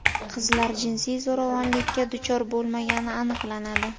Qizlar jinsiy zo‘ravonlikka duchor bo‘lmagani aniqlanadi.